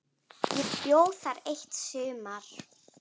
Ég bjó þar eitt sumar.